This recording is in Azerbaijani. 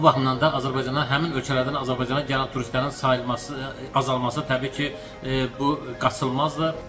Bu baxımdan da Azərbaycana həmin ölkələrdən Azərbaycana gələn turistlərin sayılması, azalması təbii ki, bu qaçılmazdır.